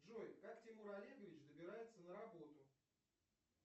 джой как тимур олегович добирается на работу